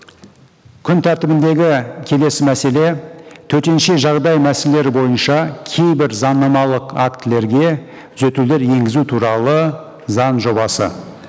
күн тәртібіндегі келесі мәселе төтенше жағдай мәселелері бойынша кейбір заңнамалық актілерге түзетулер енгізу туралы заң жобасы